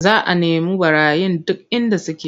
Za a nemu ɓarayin duk inda suke.